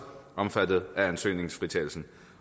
omfattet af ansøgningsfritagelsen